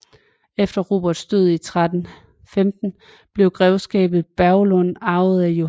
Efter Roberts død i 1315 blev Grevskabet Burgund arvet af Johanne